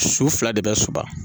Su fila de bɛ suma